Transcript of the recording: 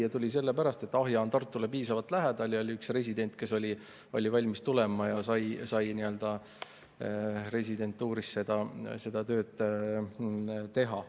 Ta tuli sellepärast, et Ahja on Tartule piisavalt lähedal ja oli üks resident, kes oli valmis tulema ja sai residentuuris olles seda tööd teha.